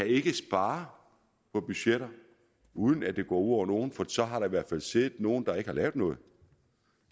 ikke kan spare på budgetter uden at det går nogen for så har der i hvert fald siddet nogle der ikke har lavet noget